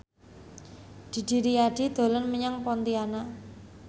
Didi Riyadi dolan menyang Pontianak